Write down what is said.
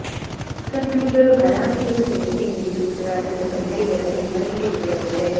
ಕನ್ನಡಿಗರು ಹರಾಮಿ ಎಂದು ಹೇಳಿಕೆ ನೀಡಿರುವುದು ರಾಜ್ಯದ ಕನ್ನಡಿಗರ ಕೆಂಗಣ್ಣಿಗೆ ಗುರಿಯಾಗಿದೆ